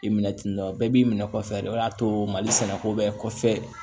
I minɛ tentɔ bɛɛ b'i minɛ kɔfɛ de o de y'a to mali sɛnɛko bɛɛ kɔfɛ